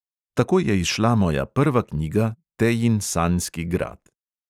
Tako je izšla moja prva knjiga tejin sanjski grad.